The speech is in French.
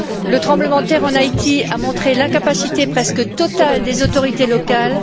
Le tremblement de terre en Haïti a montré l'incapacité presque totale des autorités locales.